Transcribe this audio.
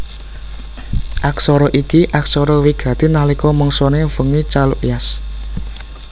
Aksara iki aksara wigati nalika mangsané Vengi Chalukyas